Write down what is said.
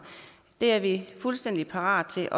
det er vi fuldstændig parat til